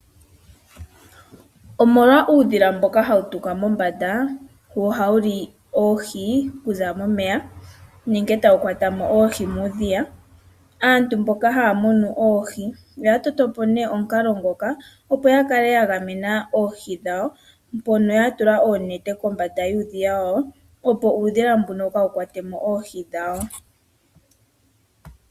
Omolwa uudhila mboka hawu tuka mombanda , wo ohawu li oohi okuza momeya nenge tawu kwatamo oohi muudhiya , aantu mboka haya munu oohi oyatotopo omukalo ngoka opo yakale tagamena oohi dhawo , mpono yatula oonete kombanda yuudhiya hono, opo uudhila mboka kaawu kuthemo oohi.